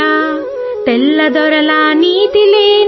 ఆంగ్లేయుల అన్యాయమైన